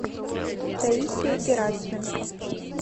таисия герасименко